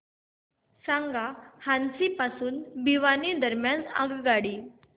सांगा हान्सी पासून भिवानी दरम्यान आगगाडी